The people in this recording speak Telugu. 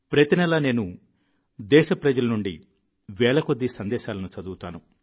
ప్రతి నెలా నేను దేశ ప్రజల నుండి వేలకొద్దీ సందేశాలను చదువుతాను